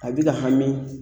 A bɛ ka hami